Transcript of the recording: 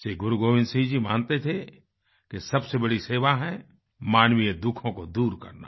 श्री गोबिन्द सिंह मानते थे कि सबसे बड़ी सेवा है मानवीय दुखों को दूर करना